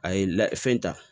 A ye la fɛn ta